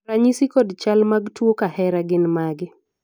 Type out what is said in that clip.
ranyisi kod chal mag tuo mar kahera gin mage?